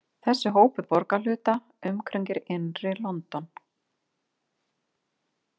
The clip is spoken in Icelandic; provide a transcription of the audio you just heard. Þessi hópur borgarhluta umkringir innri London.